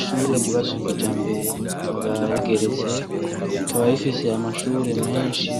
Ishure ryubatse kijambere rikaba rigeretse ,rikaba rifise Amashure menshi